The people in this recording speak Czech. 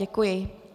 Děkuji.